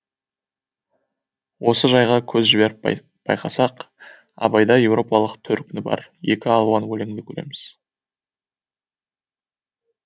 осы жайға көз жіберіп байқасақ абайда еуропалық төркіні бар екі алуан өлеңді көреміз